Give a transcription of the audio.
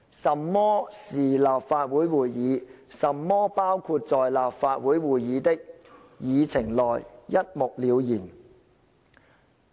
甚麼是立法會會議，甚麼包括在立法會會議的議程內，一目了然。